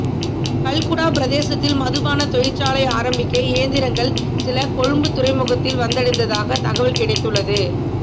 கல்குடா பிரதேசத்தில் மதுபான தொழிற்சாலை ஆரம்பிக்க இயந்திரங்கள் சில கொழும்பு துறைமுகத்தில் வந்தடைந்ததாக தகவல் கிடைத்துள்ளது